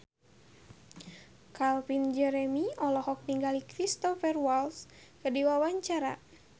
Calvin Jeremy olohok ningali Cristhoper Waltz keur diwawancara